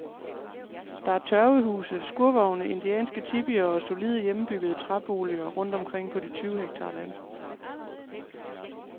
Der er tørvehuse, skurvogne, indianske tipier og solide, hjemmebyggede træboliger rundt omkring på de tyve hektar land.